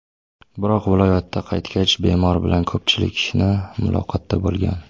Biroq viloyatga qaytgach, bemor bilan ko‘pchilikni muloqotda bo‘lgan.